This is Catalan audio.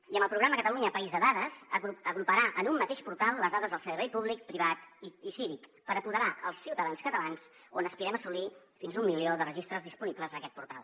i el programa catalunya país de dades agruparà en un mateix portal les dades del servei públic privat i cívic per apoderar els ciutadans catalans on aspirem assolir fins a un milió de registres disponibles en aquest portal